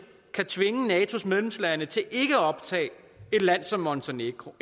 kan tvinge natos medlemslande til ikke at optage et land som montenegro